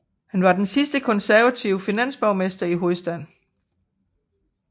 Han var den sidste konservative finansborgmester i hovedstaden